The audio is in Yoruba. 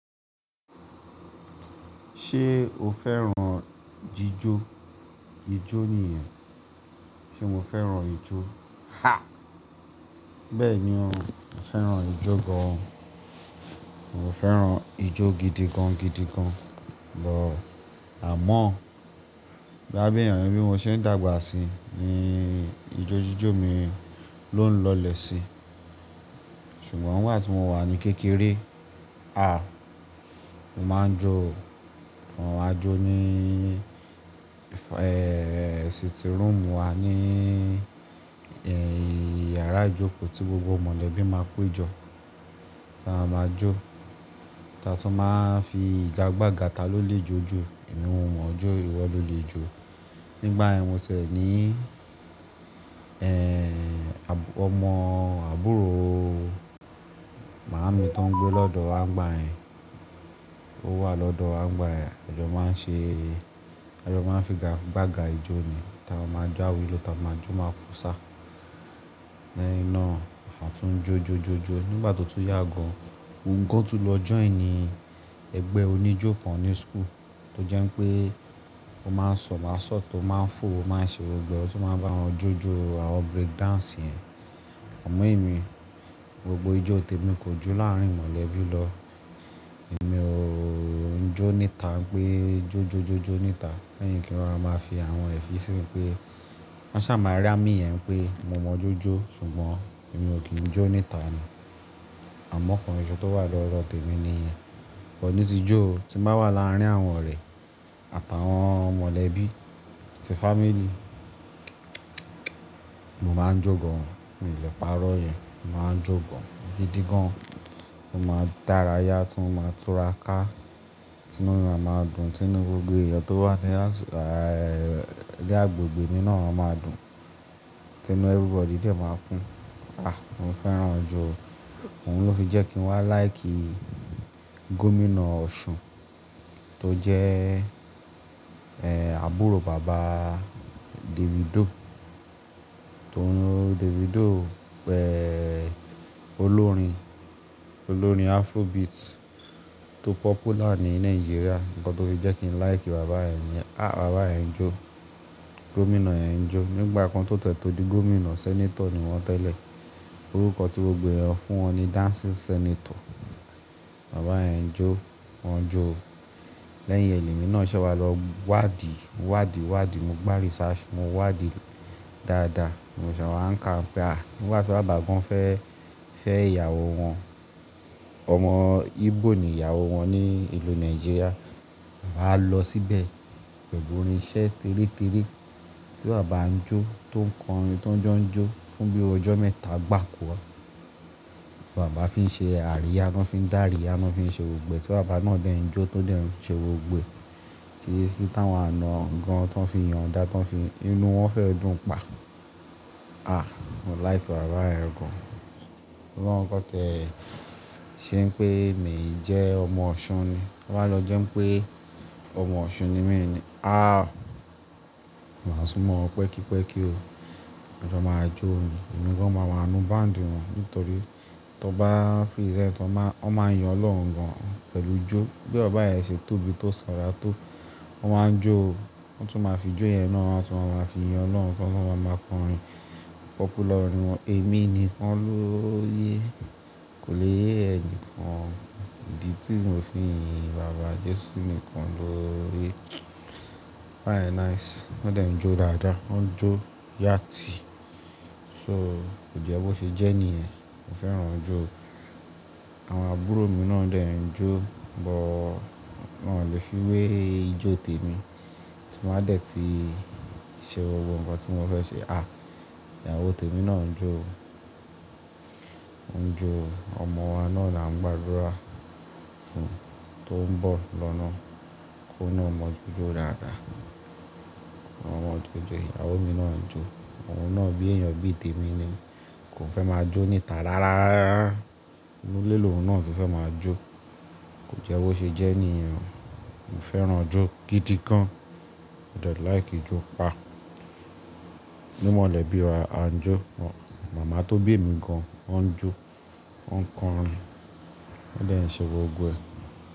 Ṣé o fẹ́ràn jíjó? Ijó nìyẹn. Ṣé mo fẹ́ràn ijó? Ha! Bẹ́ẹ̀ ni, mo fẹ́ràn ijó gan. Mo fẹ́ràn ijó gidi gan gidi gan lọ́ àmọ́, bí abìyànrin bí mo ṣe ń dàgbà sí ni ijó jíjó mi ló ń lọlẹ̀ sí. Ṣùgbọ́n ìgbà tí mo wà ní kékeré, ah, mo máa ń jó, àwọn àjó ní, ẹ́, sitting room wa ní, ẹ́, yàrá ìjókòó tí gbogbo mọ̀lẹ́bí máa ń pé jọ, a máa jó. Tà tó máa ń fi ìga gbàga ta ló lè jó ju, èmi wọn jó, ìwọ ló lè jó. Nígbà ẹ́, mo ṣẹ̀ ní, ẹ́, ọmọ àbúrò màámi tó ń gbé lọ́dọ̀ wa ngba ẹ̀, ó wà lọ́dọ̀ àwọn ngbà ẹ̀, a jọ́ máa ń ṣe eré. Ọjọ́ máa ń figa gbàga ijó ni, tà a máa jáwilo tà a máa jó máa ko sá. Lẹ́ inú, a tún jó jó jó jó. Nígbà tó tún yà gan, mo òun tún lọ join ní ẹgbẹ́ oníjó kan ní school, tó jẹ́ pé ó máa ń sọ̀ masọ̀t tó máa ń fò, ó máa ń ṣe gbó gbo ẹ̀, ó tún máa ń bá wọn jó jó àwọn break dance yẹn. Amon emi, gbogbo ijó tèmi kò jó láàárín mọ̀lẹ́bí lọ. Èmi ò ń jó níta pé jó jó jó jó níta. Lẹ́yìn kí wọ́n máa fi àwọn ẹ̀sìn pé wọ́n ṣà màá rí á mí yẹn pé mo mọ jó jó, ṣùgbọ́n èmi ò kí ń jó níta ni. Àmọ́ kan iṣẹ́ tó wà lọ́dọ̀ tèmi nìyẹn. Ọ̀ ní sí ijó, tí bá wà láàárín àwọn ọ̀rẹ́ àtàwọn mọ̀lẹ́bí sí family, mo máa ń jó gan. Mi ò lè parọ́ yẹ̀, mo máa ń jó gan gidi gan. Mo máa dára yá, tún máa túra ká, tún inú ẹna máa dùn, tún inú gbogbo èèyàn tó wà ní às- àà ẹ́, ní agbègbè nínà án máa dùn. Tínú everybody dẹ̀ máa kún. Ah, mo fẹ́ràn ijó. Òun ló fi jẹ́ kí n wá like Gómìnà Ọ̀ṣun tó jẹ́, ẹ́, àbúrò bàba Davido, tó ni Davido pẹ̀, olórin, olórin Afrobeat tó popular ní Nigeria. Ǹkan tó fi jẹ́ kí n like bàbá ẹ̀ ni. Ah, bàbá ẹ̀ ń jó. Gómìnà ẹ̀ ń jó. Nígbà kan tó tẹ̀ tó di Gómìnà, Senator ni wọ́n tẹ́lẹ̀. Orúkọ tí gbogbo ẹ̀yàn fún wọn ni Dancing Senator. Bàbá ẹ̀ ń jó, wọ́n ń jó. Lẹ́yìn ẹ lémi náà ṣẹ̀ wá lọ wádìí, wádìí, wádìí, mo gbá research, mo wádìí dáadáa. Mo ṣà wá ń ka pé ah, nígbà tí bàbá gan fẹ́, fẹ́ ìyàwó wọn, ọmọ Igbo ni ìyàwó wọn ni ìlú Nigeria. Bàbá lọ síbẹ̀ pẹ̀lú orin ìṣe tẹ́rí tẹ́rí tí bàbá ń jó, tó ń kọrin tó ń jó ń jó fún bí ojó mẹ́ta gbà kó wá. Bàbá fi ṣe àríyá náà, fi dàríyá náà, fi ṣe gbó gbo ẹ̀. Tí bàbá náà dẹ̀ ń jó, tó dẹ̀ ń ṣe gbogbo gbẹ̀. Tí, tí táwọn àna gan tó ń fi yan ọ̀dá tó ń fi inú wọn fẹ́ ọdún pa. Ah, mo like bàbá ẹ̀ gan. Ọlọ́run kan tẹ̀ ṣé ń pé èmi jẹ́ ọmọ Ọ̀ṣun ni. To ba lọ jẹ́ pé ọmọ Ọ̀ṣun ni èmi ni. Ah, màá súnmọ́ pẹ́kípẹ́kí o. Ọjọ́ máa jó ni. Ẹ̀mi gan máa wà nú band wọn nítorí tó bá free set, wọ́n máa, wọ́n máa yan Ọlọ́run gan pẹ̀lú ijó. Bí ọba ẹ̀ ṣe tóbi tó sanra tó, wọ́n máa ń jó o. Wọ́n tún máa fi ijó yẹn náà tún wọn máa fi yan Ọlọ́run tó máa wà máa kọrin popular ní wọn. Èmi ni wọ́n ló yé. Kò le yé ẹnìkan. Ìdí tí mo fi yín bàbá jèsí ni kan ló yé. Bàbá yẹn nice. Wọ́n dẹ̀ ń jó dáadáa. Wọ́n ń jó yati. So kò jẹ́ bó ṣe jẹ́ nìyẹn. Mo fẹ́ràn ijó. Àwọn àbúrò mi náà dẹ̀ ń jó, bọ̀ wọ́n ò lè fi wé ijó tèmi tí wọ́n á dẹ̀ ti ṣe gbogbo ǹkan tí wọ́n fẹ́ ṣe. Ah, ìyàwó tèmi náà ń jó. Ó ń jó. Ọmọ wa náà là ń gbàdúrà fún un tó ń bọ̀ lọ́nà kí ó náà mọ jó jó dáadáa. Ọmọ mọ jó jó. Ìyàwó mi náà ń jó. Ọ̀un náà bí èèyàn bí tèmi ni. Kò fẹ́ máa jó níta rárá. Inú léèlè òun náà ti fẹ́ máa jó. Kò jẹ́ bó ṣe jẹ́ nìyẹn. Mo fẹ́ràn ijó gidi gan. Mo dẹ̀ like ijó pa. Ní mọ̀lẹ́bí wa, a ń jó. Mama tó bí mi gan, o ń jó. Ó ń kọrin. Ó dẹ̀ ń ṣe gbogbo ẹ̀.